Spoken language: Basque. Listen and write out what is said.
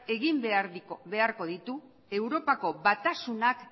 egin beharko ditu europako batasunak